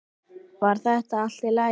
Var það allt í lagi?